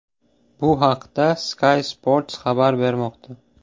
Bu haqda Sky Sports xabar bermoqda .